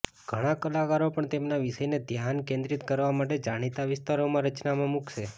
ઘણા કલાકારો પણ તેમના વિષયને ધ્યાન કેન્દ્રિત કરવા માટે જાણીતા વિસ્તારોમાં રચનામાં મૂકશે